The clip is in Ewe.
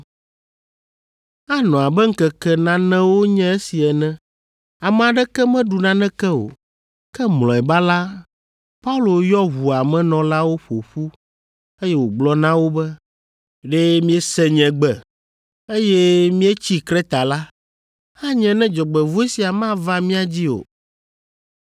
Anɔ abe ŋkeke nanewo nye esi ene, ame aɖeke meɖu naneke o, ke mlɔeba la, Paulo yɔ ʋua me nɔlawo ƒo ƒu, eye wògblɔ na wo be, “Ɖe miese nye gbe, eye míetsi Kreta la, anye ne dzɔgbevɔ̃e sia mava mia dzi o.